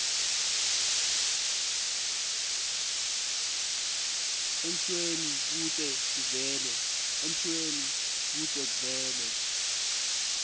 emshweni kute kuvele